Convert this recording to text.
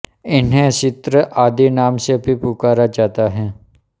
इन्हें चित्र आदि नाम से भी पुकरा जाता है